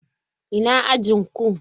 Ina ajin ku?